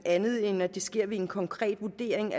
andet end at det sker ved en konkret vurdering